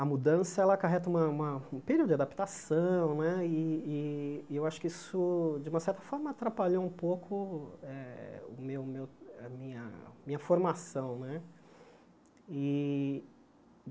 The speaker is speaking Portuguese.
Mudança ela acarreta uma uma um período de adaptação né, e e e eu acho que isso, de uma certa forma, atrapalhou um pouco eh meu meu minha a minha formação né e.